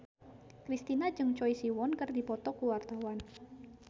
Kristina jeung Choi Siwon keur dipoto ku wartawan